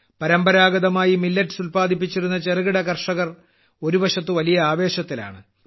പരമ്പരാഗതമായി മില്ലറ്റ്സ് ഉല്പാദിപ്പിച്ചിരുന്ന ചെറുകിട കർഷകർ ഒരു വശത്ത് വലിയ ആവേശത്തിലാണ്